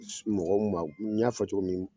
sunɔgɔ n y'a fɔ cogo min